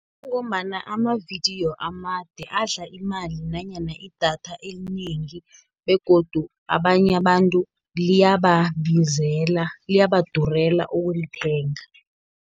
Kungombana amavidiyo amade, adla imali, nanyana idatha elinengi, begodu abanye abantu liyababizela, liyabadurela ukulithenga.